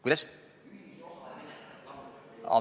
Kuidas?